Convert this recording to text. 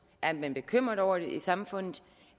er man bekymret over det i samfundet